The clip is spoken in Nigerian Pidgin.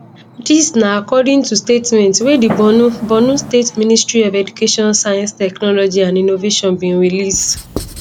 dis na according to statement wey di borno borno state ministry of education science technology and innovation bin release